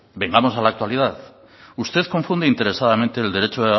vengamos a la actualidad usted consume interesadamente el derecho